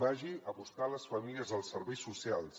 vagi a buscar les famílies als serveis socials